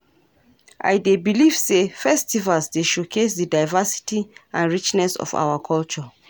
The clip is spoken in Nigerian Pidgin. I dey believe say festivals dey showcase di diversity and richness of our culture.